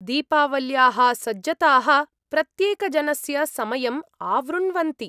दीपावल्याः सज्जताः प्रत्येकजनस्य समयम् आवृण्वन्ति।